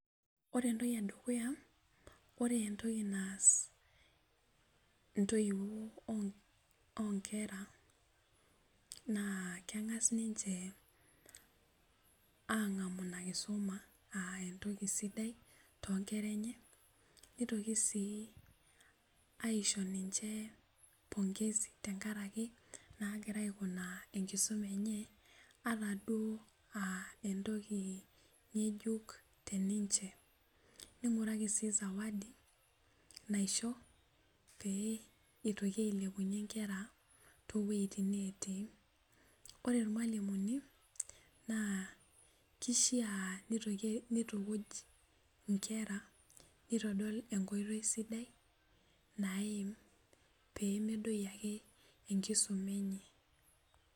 Ore entoki edukuya ore entoki naas intoiwuo o onkera naa keng'as ninche ang'amu ina kisuma uh entoki sidai tonkera enye nitoki sii aisho ninche pongezi naagira aikunaa enkisuma enye ata duo uh entoki ng'ejuk teninche ning'uraki sii zawadi naisho pee itoki ailepunyie inkera towuejitin netii ore irmalimuni naa kishia nitoki nitukuj inkera nitodol enkoitoi sidai naim pemedoyio ake enkisuma enye.